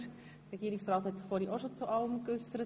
Der Regierungsrat hat sich vorhin bereits zu allem geäussert.